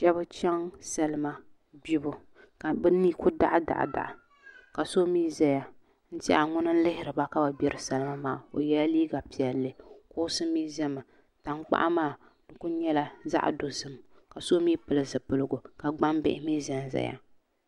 Shab chɛŋ salima gbibu ka bi ni ku daɣa daɣa ka so mii ʒɛya n tiɛhi ŋuni n lihiriba ka bi gbiri salima maa o yɛla liiga piɛlli kuɣusi mii ʒɛmi tankpaɣu maa ku nyɛla zaɣ dozim ka so mii pili zipiligu ka gbambihi mii ʒɛnʒɛya